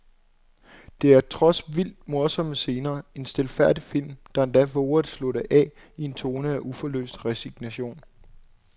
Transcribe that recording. Der er trods vildt morsomme scener en stilfærdig film, der endda vover at slutte af i en tone af uforløst resignation.